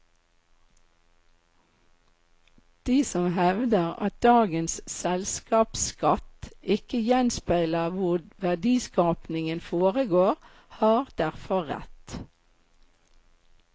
De som hevder at dagens selskapsskatt ikke gjenspeiler hvor verdiskapingen foregår, har derfor rett.